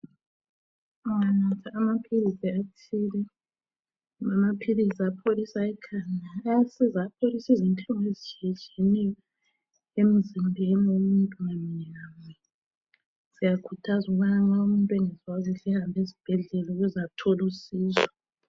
Unganatha amaphilisi athile. Amaphilisi apholisa ikhanda Ayasiza, ayapholisa inhlungu ezitshiyetshiyeneyo, emzimbeni, womuntu munye ngamunye. Siyakhuthaza ukuthi nxa umuntu engezwa kuhle, ahambe esibhedlela, ukuze athole usizo